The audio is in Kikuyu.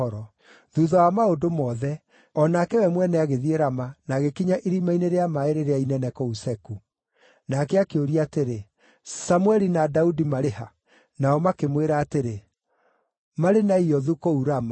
Thuutha wa maũndũ mothe, o nake we mwene agĩthiĩ Rama na agĩkinya irima-inĩ rĩa maaĩ rĩrĩa inene kũu Seku. Nake akĩũria atĩrĩ, “Samũeli na Daudi marĩ ha?” Nao makĩmwĩra atĩrĩ, “Marĩ Naiothu, kũu Rama.”